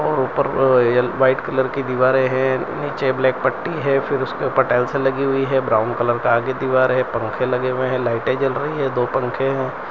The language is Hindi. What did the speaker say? और ऊपर व्हाइट कलर की दीवारें हैं नीचे ब्लैक पट्टी है फिर उसके टाइल्स लगी हुई है ब्राउन कलर का आगे दीवार है पंखे लगे हुए हैं लाइट जल रही है दो पंखे हैं।